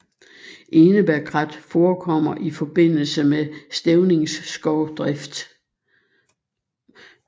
Enebærkrat forekommer i forbindelse med stævningsskovdrift